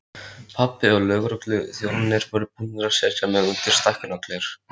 Pabbi og lögregluþjónarnir voru búnir að setja mig undir stækkunargler.